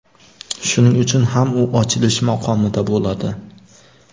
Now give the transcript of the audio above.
Shuning uchun ham u ochilish maqomida bo‘ladi.